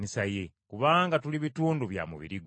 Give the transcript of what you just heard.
kubanga tuli bitundu bya mubiri gwe.